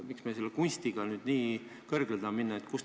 Miks me selle kunstiga nüüd nii kõrgele tahame minna?